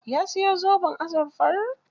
Ya siyo zoben azurfar?